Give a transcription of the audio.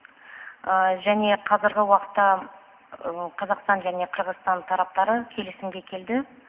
және қазіргі уақытта қазақстан және қырғызстан тараптары келісімге келді